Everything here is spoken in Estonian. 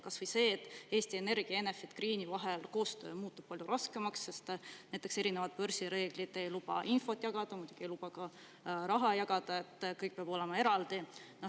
Kas või see, et Eesti Energia ja Enefit Greeni vaheline koostöö muutub palju raskemaks, sest börsireeglid ei luba teatud infot jagada, muidugi ei luba ka raha jagada, kõik peab olema eraldi.